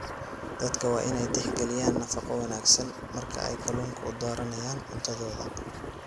Dadku waa inay tixgeliyaan nafaqo wanaagsan marka ay kalluunka u dooranayaan cuntadooda.